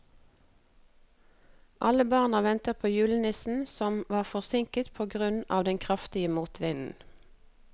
Alle barna ventet på julenissen, som var forsinket på grunn av den kraftige motvinden.